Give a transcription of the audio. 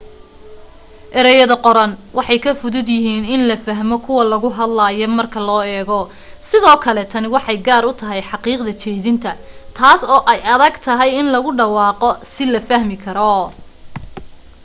erayada qoran waxay ka fudud yahiin in la fahmo kuwa lagu hadlayo marka loo eego sidoo kale tani waxay gaar u tahay xaqiiqda jeedina taas oo ay adag tahay in lagu dhawaaqo si la fahmi karo